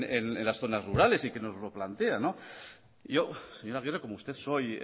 les den en las zonas rurales y que nos lo plantean yo señor agirre como usted soy